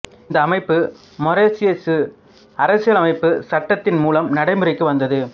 இந்த அமைப்பு மொரிசியசு அரசியலமைப்புச் சட்டத்தின் மூலம் நடைமுறைக்கு வந்தது